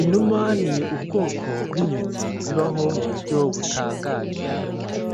Inuma ni ubwoko bw'inyoni zibaho mu buryo butangaje